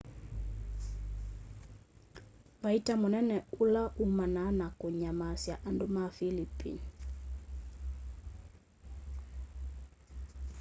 vaita mũnene ũla umanaa na kũnyamasya andũ ma philipine